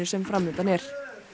sem fram undan er